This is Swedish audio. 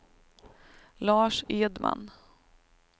Lars Edman